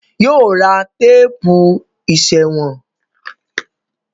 Yóò ra téèpù ìsèwọ̀n.